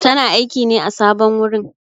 Tana aiƙi ne a sabon wurin.